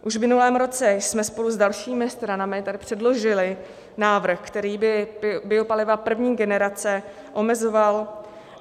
Už v minulém roce jsme spolu s dalšími stranami tady předložili návrh, který by biopaliva první generace omezoval.